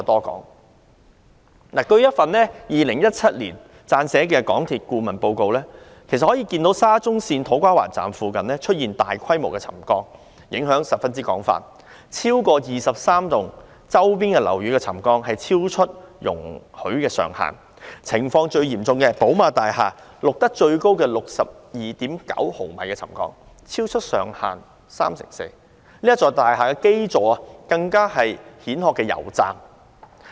根據一份於2017年為港鐵公司撰寫的顧問報告，其實可以看到沙中線土瓜灣站附近出現大規模沉降，影響範圍十分廣，超過23幢周邊樓宇的沉降超出容許上限，情況最嚴重的寶馬大廈錄得最高 62.9 毫米的沉降，超出上限三成四，該大廈的基座更是一個蜆殼公司的油站。